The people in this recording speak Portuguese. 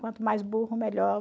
Quanto mais burro, melhor.